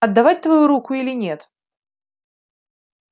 отдавать твою руку или нет